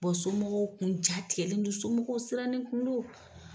somɔgɔw kun jatigɛlen don ,somɔgɔw siranlen kun don.